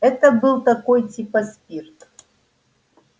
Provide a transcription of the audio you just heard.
это был такой типа спирт